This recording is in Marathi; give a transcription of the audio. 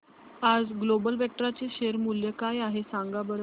आज ग्लोबल वेक्ट्रा चे शेअर मूल्य काय आहे सांगा बरं